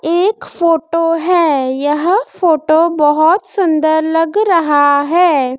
एक फोटो है यह फोटो बहुत सुंदर लग रहा है।